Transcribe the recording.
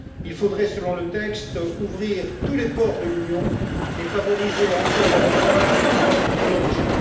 Il faudrait, selon le texte, ouvrir tous les ports de l'Union et favoriser encore davantage le travail des ONG.